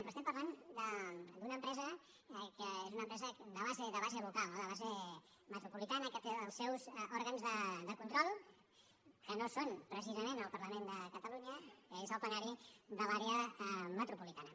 però estem parlant d’una empresa que és una empresa de base local no de base metropolitana que té els seus òrgans de control que no són precisament el parlament de catalunya que és el plenari de l’àrea metropolitana